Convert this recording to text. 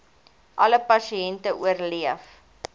alle pasiënte oorleef